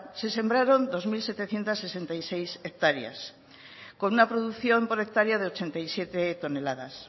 se sembraron dos mil setecientos sesenta y seis hectáreas con una producción por hectáreas de ochenta y siete toneladas